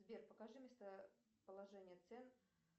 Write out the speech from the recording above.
сбер покажи местоположение цен